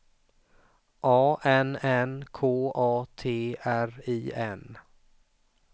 A N N K A T R I N